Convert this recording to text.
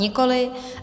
Nikoliv.